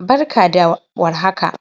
Barka da warhaka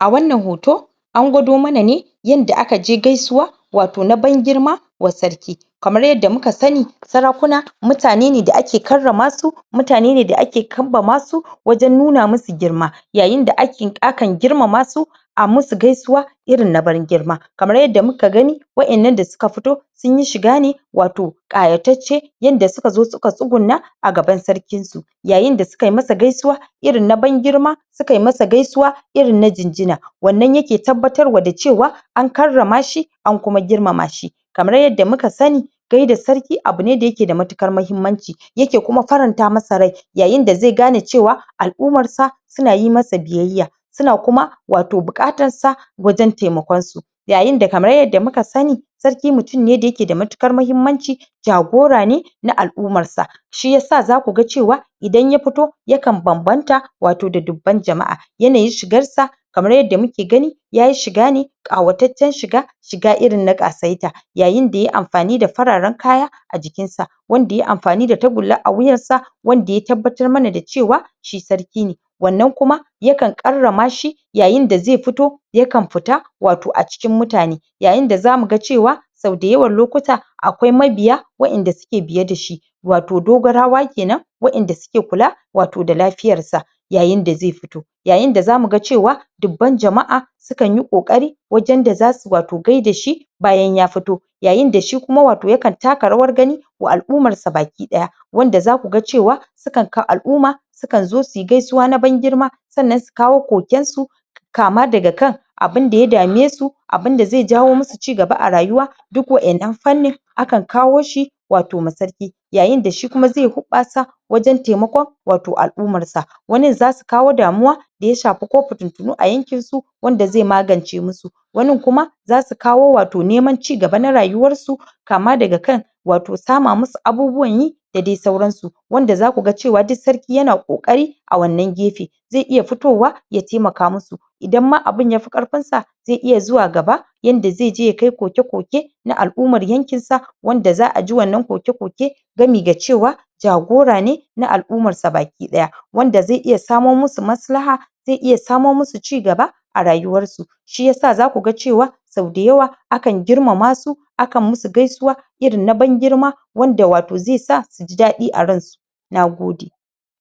a wannan hoto an gwado mana ne yanda aka je gaisuwa wato na ban girma wa sarki kamar yadda muka sani sarakuna mutane ne da ake karrama su mutane ne da ake kambama su wajen nuna musu girma yayinda ake akan girmama su a musu gaisuwa irin na bangirma kamar yadda muka gani waƴannan da suka fito sunyi shiga ne wato ƙayatacce yanda sukazo suka tsugunna a gaban sarkin su yayinda sukayi masa gaisuwa irin na ban girma sukai masa gaisuwa irin na jinjina wannan yake tabbatar wa dacewa an karrama shi an kuma girmama shi kamar yadda muka sani gaida sarki abu ne da yake da matuƙar mahimmanci yake kuma faranta masa rai yayin da zai gane cewa al'umarsa suna yi masa biyayya suna kuma wato buƙatansa wajen taimakon su yayinda kamar yadda muka sani sarki mutum ne da yake da matuƙar mahimmanci jagora ne na al'umarsa shiyasa zakuga cewa idan ya fito yakan banbanta wato da dubban jama'a yanayin shigarsa kamar yadda muke gani yayi shigane ƙawataccen shiga shiga irin na ƙasaita yayin da yai amfani da fararen kaya a jikinsa wanda yai amfani da tagulla a wuyansa wanda ya tabbatar mana da cewa shi sarki ne wannan kuma yakan ƙarrama shi yayinda ze fito yakan fita wato a cikin mutane yayinda zamuga cewa sau dayawan lokuta akwai mabiya waƴanda suke biye dashi wato dogarawa kenan waƴanda suke kula wato da lafiyarsa yayinda zai fito yayinda zamuga cewa dubban jama'a sukan yi ƙoƙari wajen da zasu wato gaida shi bayan ya fito yayinda shikuma wato yakan taka rawar gani wa al'umarsa baki ɗaya wanda zakuga cewa sukan ka al'uma sukan zo suyi gaisuwa na ban girma sannan su kawo koken su kama daga kan abinda ya dame su abinda ze jawo musu cigaba a rayuwa duk waƴannan fannin akan kawo shi wato ma sarki yayinda shikuma ze hoɓɓasa wajen taimakon wato al'umarsa wanin zasu kawo damuwa da ya shafi ko fitintinu a yankin su wanda ze magance musu wanin kuma zasu kawo wato neman cigaba na rayuwarsu kama daga kan wato sama musu abubuwan yi da dai sauran su wanda zakuga cewa duk sarki yana ƙoƙari a wannan gefe ze iya fitowa ya taimaka musu idan ma abin yafi ƙarfinsa ze iya zuwa gaba yanda zeje ya kai koke-koke na al'umar yankinsa wanda za aji wannan koke-koke gami da cewa jagora ne na al'umarsa baki ɗaya wanda ze iya samo musu maslaha ze iya samo musu cigaba a rayuwarsu shiyasa zakuga cewa sau da yawa akan girmama su akan musu gaisuwa irin na ban girma wanda wato zai sa suji daɗi a ransu nagode